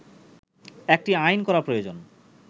একটি আইন করা প্রয়োজন